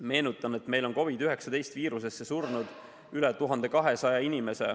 Meenutan, et meil on COVID-19 haigusega surnud üle 1200 inimese.